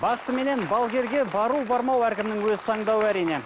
бақсы менен балгерге бару бармау әркімнің өз таңдауы әрине